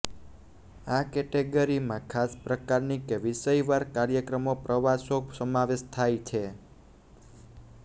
આ કૅટેગરીમાં ખાસ પ્રકારની કે વિષયવાર કાર્યક્રમો પ્રવાસો સમાવેશ થાય છે